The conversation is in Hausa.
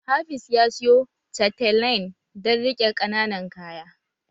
Hafiz ya siyo chatelaine dan riqe qananan kaya